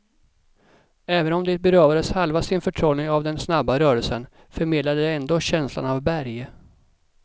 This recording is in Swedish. Även om det berövades halva sin förtrollning av den snabba rörelsen, förmedlade det ändå känslan av berg.